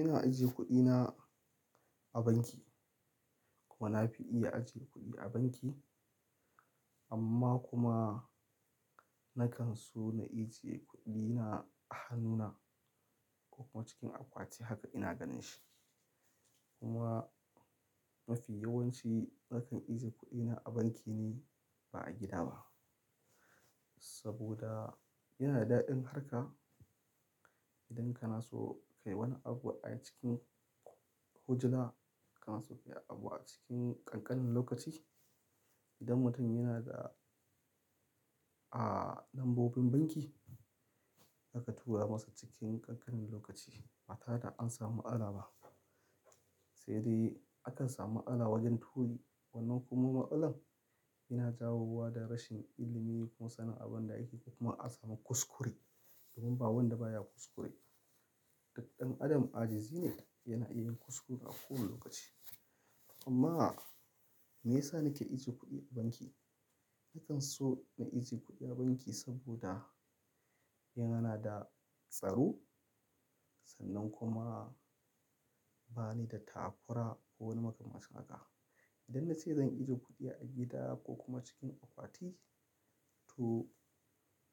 Ina ajiye kuɗina a banki kuma na fi iya ajiye kuɗi a banki amma kuma na kan so na ijiye kuɗina a hannuna ko kuma cikin akwati haka ina ganin shi. Kuma mafi yawanci nakan ijiye kuɗina a banki ne ba a gida ba saboda yana da daɗin harka idan kana so ka yi wani abu a cikin hujjina, kana so ka yi abu a cikin kankanin lokaci. Idan mutum yana da, a lambobin banki, za ka tura masa cikin kankanin lokaci ba tare da an samu ma'ala ba. Sai dai akan samu ma'ala wajen turi wannan kuma ma'alan yana jawo wa da rashin ilimi ko sanin abun da ake yi kuma a samu kuskure domin ba wanda baya kuskure. Dan adam ajazi ne yana iya yin kuskure a kowane lokaci. Amma me yasa nake ijiye kuɗi a banki? Nakan so na ijiye kuɗi a banki saboda yana da tsaro sannan kuma ba ni da takura ko wani makamancin haka. Idan na ce zan ijiye kuɗi a gida ko kuma cikin akwati to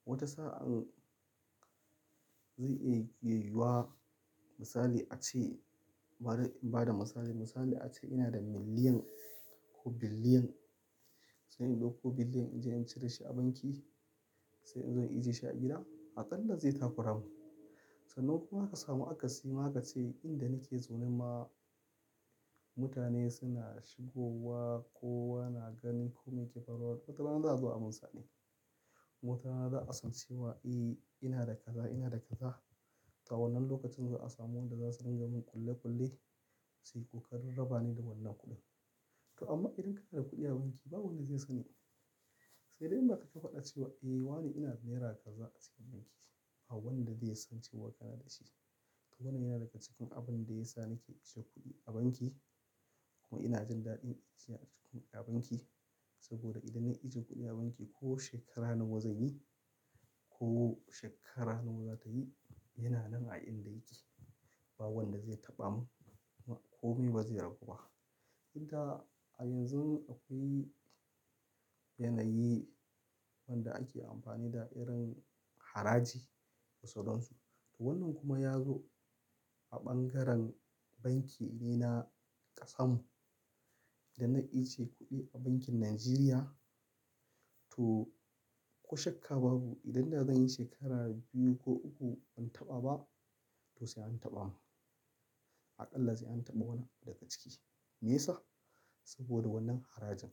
wata sa'an zai iyay-- iya yuwa misali a ce, ba da, ba da misali. Misali a ce ina da miliyan ko biliyan, sai in ɗauko biliyan in je in cire shi a banki sai in zo in ijiye shi a gida, aƙalla zai takuramu. Sannan kuma aka samu akasi ma aka ce inda nake zaune ma mutane suna shigowa ko ana ganin kome yake faruwa, watarana za a zo a min sade. Watarana za a san cewa eh ina da kaza, ina da kaza. To a wannan lokacin za a samu wanda za su ringa mun kulle kulle sai ko karar-raba ne da wannan kuɗin. To amma idan kana da kuɗi a banki ba wanda zai sani. Sai dai in ba kai ka faɗa cewa eh wane ina da naira kaza a cikin banki, ba wanda zai san cewa kana da shi. To wannan yana daga cikin abun da ya sa nake ajiye kuɗi a banki kuma ina jin daɗin ajiya a cikin a banki saboda idan na ijiye kuɗi a banki ko shekara nawa zan yi ko shekara nawa za ta yi, yana nan a inda yake. Ba wanda zai taɓa mun kuma ko mai ba zai ragu ba. Inka a yanzun akwai yanayi wanda ake amfani da irin haraji da sauran su. To wannan kuma ya zo a bangaren banki irina ƙasanmu. Dan nan iya ce kuɗi a bankin Najeriya to ko shakka babu idan da zan yi shekara biyu ko uku ban taɓa ba to sai an taɓa mun. Aƙalla sai an taɓa wani daga ciki. Me yasa? Saboda wannan harajin.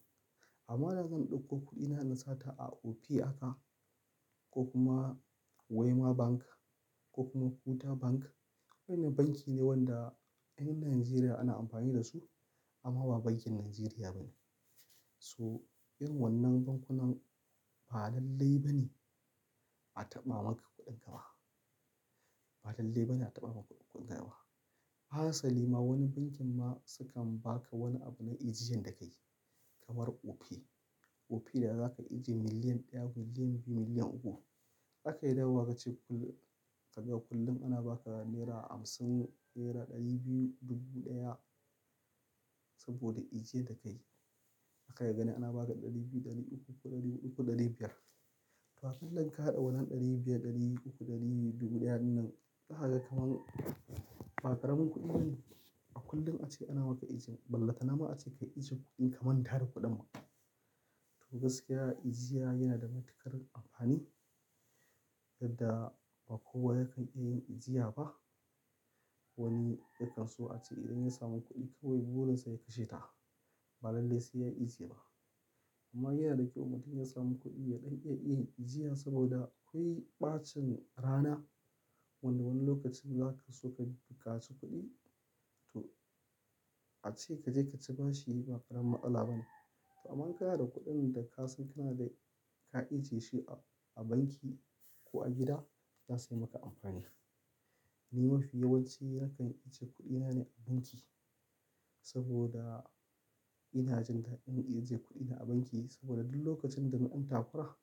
Amma da zan ɗauko kuɗina na sa ta a Opay aka ko kuma Wema Bank ko kuma Kuda Bank, waɗannan banki ne wanda yan Najeriya ana amfani da su amma ba bankin Najeriya ba ne. So irin wannan bankunan ba lallai ba ne a taɓa maka kuɗin ka ma. Ba lallai ba ne a taɓa maka kuɗin ka ma. Harsali ma wani bankin ma sukan baka wani abu na ijiyan da ka yi kamar Opay. Opay da za ka ijiye miliyan ɗaya, miliyan biyu, miliyan uku. Za ka iya dawowa ka ce kullum, saba kullum ana baka naira hamsin, naira ɗari biyu, dubu ɗaya saboda ijiyad da ka yi. Ka iya gani ana baka ɗari biyu, ɗari uku ko ɗari huɗu ko ɗari biyar. To a kila in ka haɗa wannan ɗari biyar, ɗari uku, ɗari dubu ɗaya din nan, daka ga kaman, ba ƙaramin kuɗi ba ne? Kullum ake ana maka ijin, ballantanama ace ka ijiye kuɗin ka manta da kuɗin ma. To gaskiya ijiya yana da matuƙar amfani yadda ba kowa yakan iya yin aijya ba. Wani yakan so a ce idan ya samu kuɗi kawai burinsa ya kashe ta ba lallai sai ya yi ijiye ba. Amma yana da kyau in mutum ya samu kuɗi ya ɗan iya iye ijiyan saboda akwai ɓacin rana wanda wani lokacin za ka so ka bukaci kuɗi to a ce ka je ka ci bashi ma ba ƙaramin ma'ala ba ne. To amma kana da kuɗin da ka san kana da ka ijiye shi a banki ko a gida za su yi maka amfani. Ni mafi yawanci nakan ijiye kuɗina ne a banki saboda ina jin daɗin in ijiye kuɗina a banki saboda duk lokacin da na dan takura,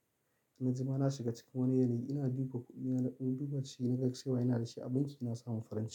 na jima na shiga cikin wani yanayi ina duba kuɗina, inna dan duba shi na ga cewa ina da shi a banki ina samun farin ciki.